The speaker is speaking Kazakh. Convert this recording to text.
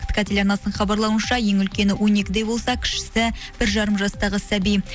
ктк телеарнасының хабарлауынша ең үлкені он екіде болса кішісі бір жарым жастағы сәби